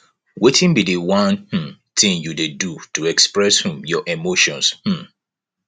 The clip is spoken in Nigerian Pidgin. wetin be di one um thing you dey do to express um your emotions um